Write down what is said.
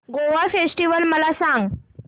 Goa festival मला सांग